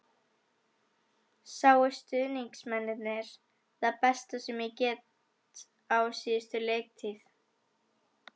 Sáu stuðningsmennirnir það besta sem ég get á síðustu leiktíð?